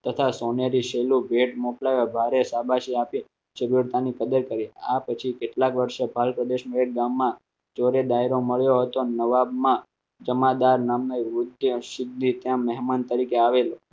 તથા સોનેરી છેલુ પેટ મોકલાવ્યો ભારે આ બાજુ આપી કદર કરીને આ પછી કેટલાક વર્ષે બાલ પ્રદેશનો એક ગામમાં ચોરે ડાયરો મળ્યો હતો નવાબમાં જમાદાર નામના ત્યાં મહેમાન તરીકે આવેલ